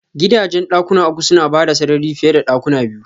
Gidajen dakuna uku suna bada sarari fiye da dakuna biyu.